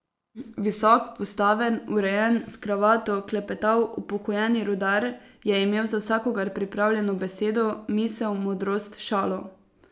Visok, postaven, urejen, s kravato, klepetav upokojeni rudar je imel za vsakogar pripravljeno besedo, misel, modrost, šalo.